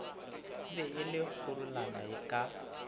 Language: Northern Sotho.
be e le kgorulana ka